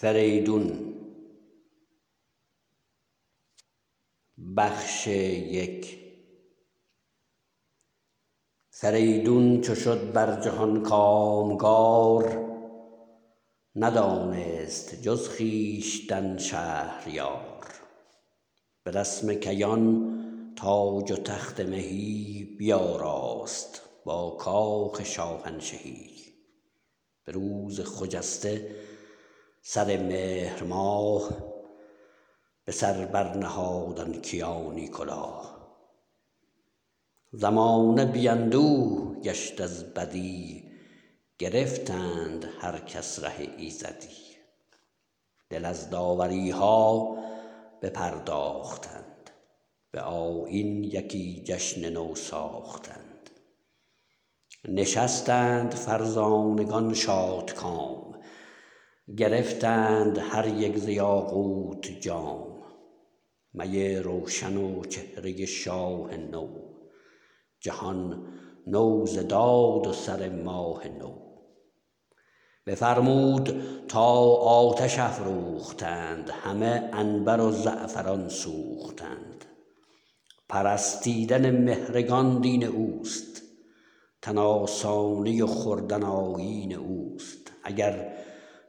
فریدون چو شد بر جهان کامگار ندانست جز خویشتن شهریار به رسم کیان تاج و تخت مهی بیاراست با کاخ شاهنشهی به روز خجسته سر مهر ماه به سر بر نهاد آن کیانی کلاه زمانه بی اندوه گشت از بدی گرفتند هر کس ره ایزدی دل از داوری ها بپرداختند به آیین یکی جشن نو ساختند نشستند فرزانگان شادکام گرفتند هر یک ز یاقوت جام می روشن و چهره شاه نو جهان نو ز داد و سر ماه نو بفرمود تا آتش افروختند همه عنبر و زعفران سوختند پرستیدن مهرگان دین اوست تن آسانی و خوردن آیین اوست اگر